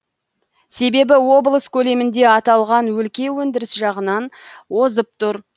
себебі облыс көлемінде аталған өлке өндіріс жағынан озып тұр